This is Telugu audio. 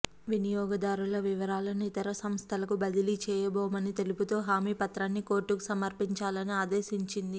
వినియోగదారుల వివరాలను ఇతర సంస్థలకు బదిలీ చేయబోమని తెలుపుతు హామీ పత్రాన్ని కోర్టుకు సమర్పించాలని ఆదేశించింది